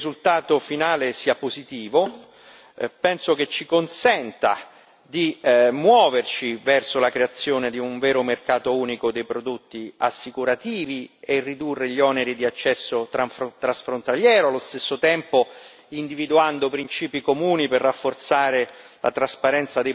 E quindi penso che il risultato finale sia positivo e che ci consenta di muoverci verso la creazione di un vero mercato unico dei prodotti assicurativi e ridurre gli oneri di accesso transfrontaliero, allo stesso tempo, individuando principi comuni per rafforzare